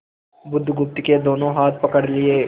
बुधगुप्त के दोनों हाथ पकड़ लिए